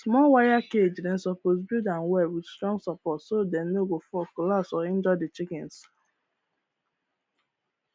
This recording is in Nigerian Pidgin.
small wire cage dem suppose build am well with strong support so dem no go fall collapse or injure the chickens